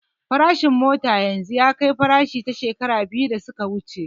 Farashin mota yanzu ya fi farashin ta shekaru biyu da su ka wuce yawa